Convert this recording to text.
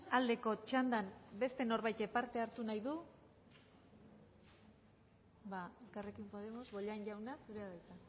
aldeko txandan beste norbaitek parte hartu nahi du elkarrekin podemos bollain jauna zurea da hitza